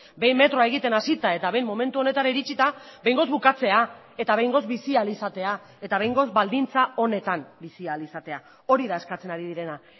behin metroa egiten hasita eta behin momentu honetara iritsita behingoz bukatzea eta behingoz bizi ahal izatea eta behingoz baldintza onetan bizi ahal izatea hori da eskatzen ari direna